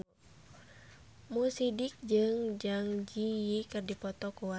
Mo Sidik jeung Zang Zi Yi keur dipoto ku wartawan